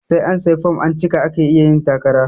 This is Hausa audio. Sai an sayi fom an cika ake iya yin takara